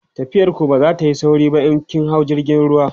tafiyar ku ba zatayi sauri ba in kin hau jirgin ruwa